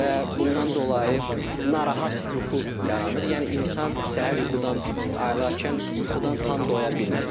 Və bundan dolayı narahat yuxu yaranır, yəni insan səhər yuxudan ayılarkən yuxudan tam doya bilmir.